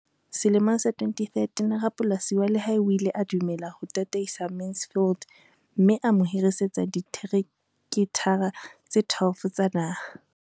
Selemong sa 2013, rapolasi wa lehae o ile a dumela ho tataisa Mansfield mme a mo hirisetsa dihekethara tse 12 tsa naha.